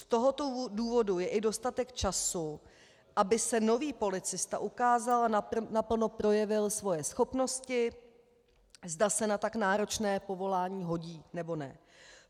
Z tohoto důvodu je i dostatek času, aby se nový policista ukázal a naplno projevil svoje schopnosti, zda se na tak náročné povolání hodí, nebo ne.